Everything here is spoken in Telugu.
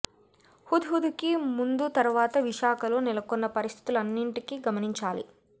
హుద్ హుద్ కి ముందు తర్వాత విశాఖలో నెలకొన్న పరిస్థితులన్నింటినీ గమనించాలి